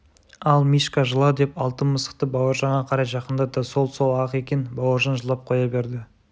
ал мишка жыла деп алтын мысықты бауыржанға қарай жақындатты сол сол-ақ екен бауыржан жылап қоя берді